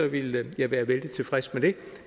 ville jeg være vældig tilfreds med